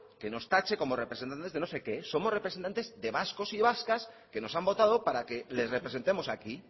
que nos tache como representantes de no sé qué somos representantes de vascos y de vascas que nos han votado para que les representemos aquí